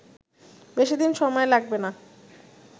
বেশিদিন সময় লাগবে না